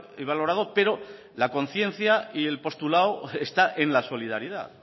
y valorado pero la conciencia y el postulado están en la solidaridad